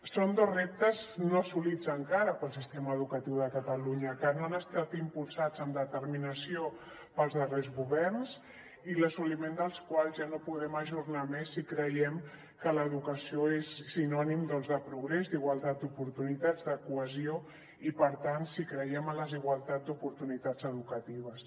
són dos reptes no assolits encara pel sistema educatiu de catalunya que no han estat impulsats amb determinació pels darrers governs i l’assoliment dels quals ja no podem ajornar més si creiem que l’educació és sinònim de progrés d’igualtat d’oportunitats de cohesió i per tant si creiem en la igualtat d’oportunitats educatives